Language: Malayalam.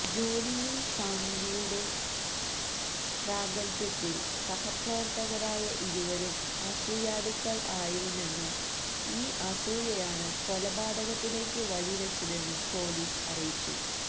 ജോലിയില് സാംഗ് വിയുടെ പ്രാഗല്ഭ്യത്തില് സഹപ്രവര്ത്തകരായ ഇരുവരും അസൂയാലുക്കള് ആയിരുന്നെന്നും ഈ അസൂയയാണ് കൊലപാതകത്തിലേയ്ക്ക് വഴി വെച്ചതെന്നും പോലീസ് അറിയിച്ചു